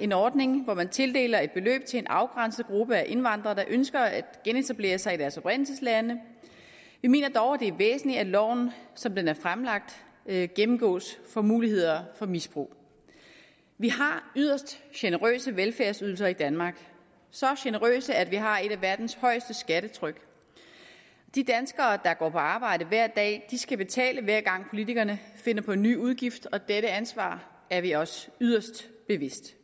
en ordning hvor man tildeler et beløb til en afgrænset gruppe af indvandrere der ønsker at genetablere sig i deres oprindelseslande vi mener dog at det er væsentligt at loven som den er fremlagt gennemgås for muligheder for misbrug vi har yderst generøse velfærdsydelser i danmark så generøse at vi har et af verdens højeste skattetryk de danskere der går på arbejde hver dag skal betale hver gang politikerne finder på en ny udgift og dette ansvar er vi os yderst bevidst